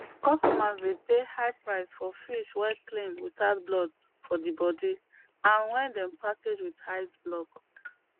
customers dey pay high price for fish wey clean without blood for di bodi and wen dem package with ice block